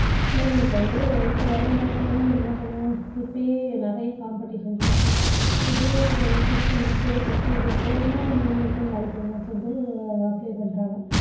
பிள்ளைங்களுக்கு வந்து இப்போ வரும் காலத்துல எல்லாம் நம்ம என்ன பண்ணுவோம் இப்போயே நிறைய competition இருக்கு இப்போவே ஒரு six hundred six hundred போச்சுன்னா மூணு லட்சம் பேர் நாலு லட்சம் பேர் apply பண்றாங்க